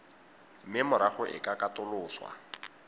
mme morago e ka katoloswa